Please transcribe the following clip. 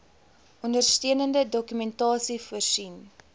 ondersteunende dokumentasie voorsien